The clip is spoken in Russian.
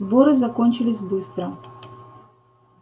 сборы закончились быстро